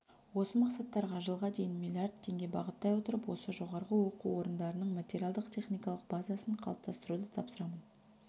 осы мақсаттарға жылға дейін миллиард теңге бағыттай отырып осы жоғары оқу орындарының материалдық-техникалық базасын қалыптастыруды тапсырамын